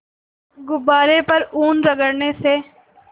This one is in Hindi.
गुब्बारे पर ऊन रगड़ने से